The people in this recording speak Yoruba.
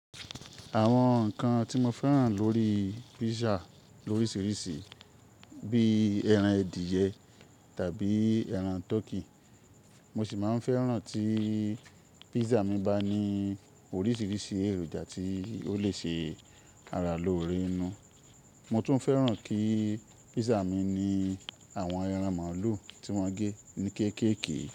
Àwọn nǹkan tí mo fẹ́ràn lórí písà lóríṣiríṣi bíi ẹran adìẹ tàbí ẹran tọkí. Mo sì máa ń fẹ́ràn tí písà mi bá ní oríṣiríṣi èròjà tí ó lè ṣe ara lóore inú. Mo tún fẹ́ràn kí písà mi ní àwọn ẹran màlúù tí wọ́n gé ní kéékèèké.